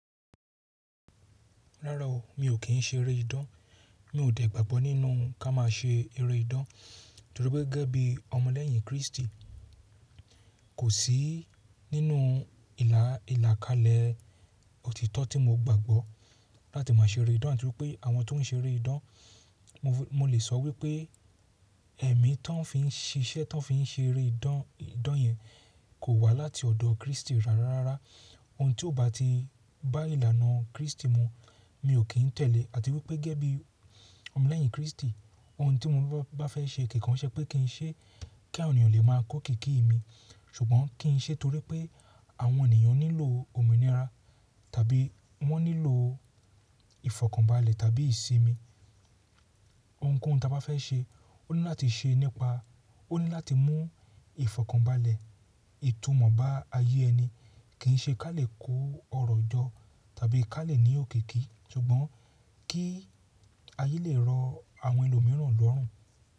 Rárá o, mi ò kí ń ṣe eré idán. Mi ò dẹ̀ gbàgbọ́ nínú ká má a ṣe eré idán torí pé gẹ́gẹ́ bí ọmọlẹ́yìn Kristi, kò sí nínú ìlà ìlàkalẹ̀ òtítọ́ tí mo gbàgbọ́ láti má ṣe eré idán àti wípé àwọn tó ń ṣe eré idán, mo lè sọ wípé ẹ̀mí tó ń fi ń ṣiṣẹ́ tó ń fi ṣe eré idán idán yẹn kò wá láti ọ̀dọ̀ Kristi rárá. Rárá òun tí ó bati bá ìlànà kristi mu mio kín tẹ̀lé. Àti wípé gẹ́gẹ́ bí ọmọlẹ́yìn kristi òun tí mo bá fẹ́ ṣe ṣùgbọ́n kí n ṣe torí pé àwọn ènìyàn nílò òmìnira tàbí wọ́n nílò ìfọ̀kànbalẹ̀ tàbí ìsinmi. Ohunkóhun tí a bá fẹ́ ṣe, ó ní láti ṣe nípa, ó ní láti mú ìfọ̀kànbalẹ̀, ìtumọ̀ bá ayé ẹni, kì í ṣe ká lè kó ọrọ̀ jọ tàbí ká lè ní òkìkí ṣùgbọ́n kí ayé lè rọ àwọn ẹlòmíràn lọ́rùn.